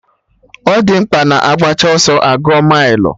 Ọ di mkpa na agbacha ọsọ a gụọ mailụ